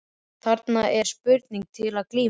Þarna er spurning til að glíma við.